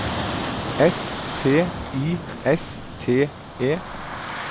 S P I S T E